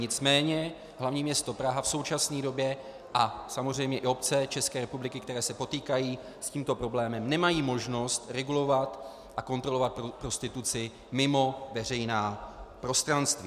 Nicméně hlavní město Praha v současné době a samozřejmě i obce České republiky, které se potýkají s tímto problémem, nemají možnost regulovat a kontrolovat prostituci mimo veřejná prostranství.